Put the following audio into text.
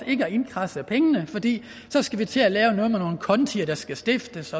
ikke at kradse pengene ind fordi så skal vi til at lave noget med nogle konti der skal stiftes